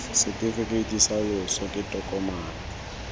setefikeiti sa loso ke tokomane